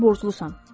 Sən mənə borclusan.